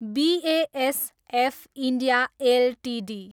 BASF India Ltd